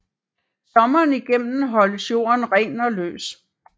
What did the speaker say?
Sommeren igennem holdes jorden ren og løs